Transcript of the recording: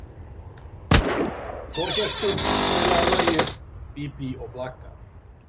Þorgestur, spilaðu lagið „Bí bí og blaka“.